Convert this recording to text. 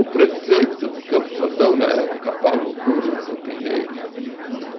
O prefeito de Campos do Jordão na época, Paulo Cury, um campineiro,